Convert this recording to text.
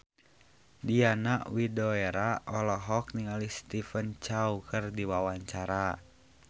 Diana Widoera olohok ningali Stephen Chow keur diwawancara